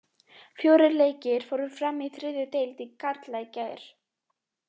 Fjórir leikir fóru fram í þriðju deild karla í gær.